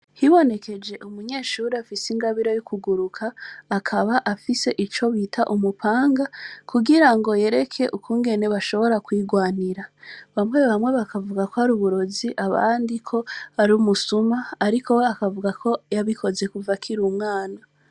Hibonekeje umunyeshure afise ingabire yo kuguruka, akaba afise ico bita umupanga, kugira ngo yereke ukungene bashobora kwirwanira. Bamwe bamwe bakavuga ko ari uburozi, abandi ko ari umusuma, ariko we akavuga ko yabikoze kuva akiri umwana.